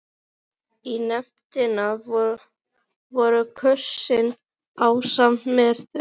Næsta skref virtist vera að sveifla sér í ljósakrónunum.